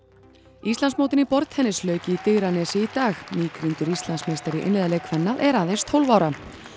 Íslandsmótinu í borðtennis lauk í Digranesi í dag nýrkrýndur Íslandsmeistari í einliðaleik kvenna er aðeins tólf ára